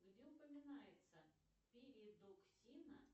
где упоминается передоксина